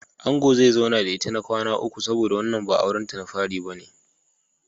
Angon zai zauna da ita na kwana uku saboda wannan ba auren ta na fari bane.